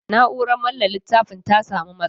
Na'urar manne littafin ta sa mu matsala.